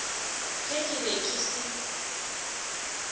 ge ke be ke se